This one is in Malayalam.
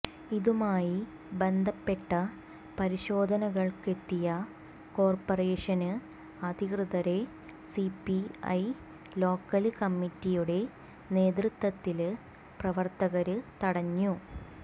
ഇതുമായി ബന്ധപ്പെട്ട പരിശോധനകള്ക്കത്തെിയ കോര്പറേഷന് അധികൃതരെ സിപിഐ ലോക്കല് കമ്മിറ്റിയുടെ നേതൃത്വത്തില് പ്രവര്ത്തകര് തടഞ്ഞു